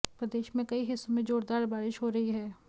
प्रदेश के कई हिस्सों में जोरदार बारिश हो रही है